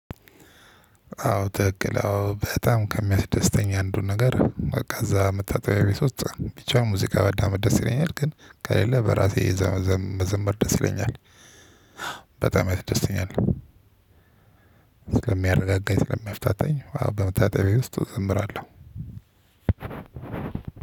አዎ ትክክል አዎ በጣም ከሚያስደስተኝ አንዱን ነገር በቃ እዛ መታጠቢያ ቤት ውስጥ ቢቻል ሙዚቃ ማዳመጥ ደስ ይለኛል ግን ከሌለ በራሴ እዛ መዘመ መዘመር ደስ ይለኛል። በጣም ያስደስተኛል ስለሚያረጋጋኝ ስለሚያፍታታኝ በመታጠቢያ ውስጥ እዘምራለሁ።